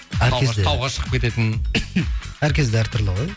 әр кезде тауға шығып кететін әр кезде әртүрлі ғой